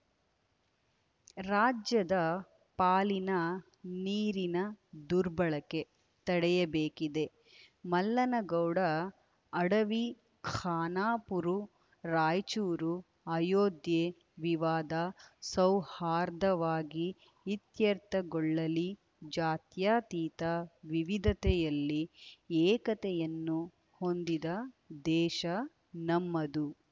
ರಾಜ್ಯದ ಪಾಲಿನ ನೀರಿನ ದುರ್ಬಳಕೆ ತಡೆಯಬೇಕಿದೆ ಮಲ್ಲನಗೌಡ ಅಡವಿಖಾನಾಪುರು ರಾಯಚೂರು ಅಯೋಧ್ಯೆ ವಿವಾದ ಸೌಹಾರ್ಧವಾಗಿ ಇತ್ಯರ್ಥಗೊಳ್ಳಲಿ ಜಾತ್ಯಾತೀತ ವಿವಿಧತೆಯಲ್ಲಿ ಏಕತೆಯನ್ನು ಹೊಂದಿದ ದೇಶ ನಮ್ಮದು